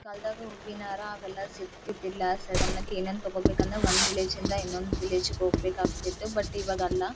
ಕಾಲದಾಗ ಹೂವಿನಹಾರ ಅವೆಲ್ಲ ಸಿಗ್ತಿದಿಲ್ಲ ಸಡನ ಆಗಿ ಏನ್ರೆ ತೊಗೊಬೆಕ ಅಂದ್ರೆ ಒಂದು ವಿಲೇಜ್ ಇಂದ ಇನ್ನೊಂದ್ ವಿಲೇಜ್ ಗೆ ಹೋಗ್ಬೇಕಾಗ್ತಿತ್ತು ಆದ್ರೆ ಇವಾಗ ಅಲ್ಲ .